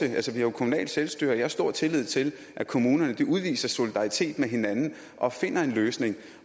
jo altså kommunalt selvstyre og jeg har stor tillid til at kommunerne udviser solidaritet med hinanden og finder en løsning